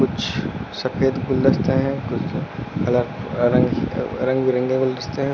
कुछ सफेद गुलदस्ते हैं कुछ कलर रंग अह रंग बिरंगे गुलदस्ते हैं और--